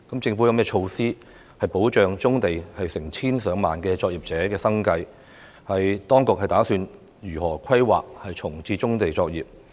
政府有何措施保障棕地成千上萬作業者的生計？當局打算如何規劃重置棕地作業？